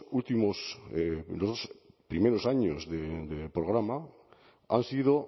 primeros años del programa han sido